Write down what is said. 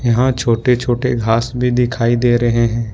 यहां छोटे-छोटे घास भी दिखाई दे रहे हैं।